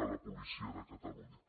policia de catalunya